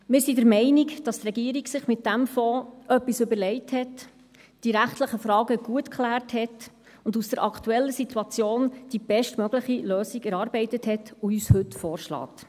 Wir sind der Meinung, dass sich die Regierung mit diesem Fonds etwas überlegt, die rechtlichen Fragen geklärt und aus der aktuellen Situation die bestmöglichste Lösung erarbeitet hat und uns diese heute vorschlägt.